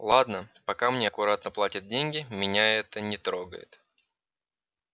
ладно пока мне аккуратно платят деньги меня это не трогает